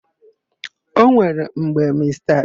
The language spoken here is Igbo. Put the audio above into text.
E nwere mgbe Mista Bigi wuru èwù nnukwu.